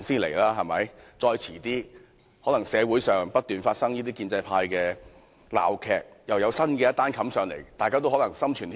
其間，社會上可能不斷發生建制派的鬧劇，又有新的事情要在立法會討論。